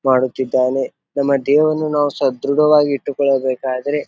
ಮಾಡುತ್ತಿದ್ದಾನೆ. ನಮ್ಮ ದೇವರನ್ನು ನಾವು ಸದ್ರಡವಾಗಿ ಇಟ್ಟುಕೊಳ್ಳಬೇಕಾದರೆ --